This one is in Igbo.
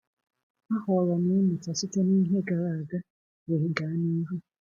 Ahọrọ m ịmụta site na ihe gara aga, wee gaa n’ihu.